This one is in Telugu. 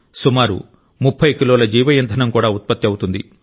సుమారు 30 కిలోల జీవ ఇంధనం కూడా ఉత్పత్తి అవుతుంది